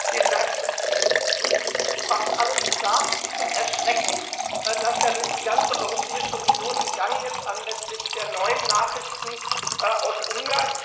Herr Präsident! Es ist fast alles gesagt zum Erschrecken, das ja durch die ganze Europäische Union gegangen ist anlässlich der neuen Nachrichten aus Ungarn.